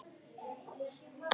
Gat þetta verið satt?